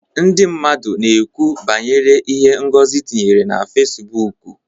Ndị mmadụ na-ekwu banyere ihe Ngozi tinyere na Fesibuuku.